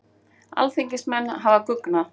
Alþingismenn hafa guggnað